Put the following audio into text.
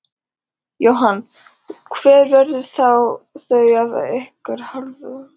Jóhann: Og hver verða þau af ykkar hálfu?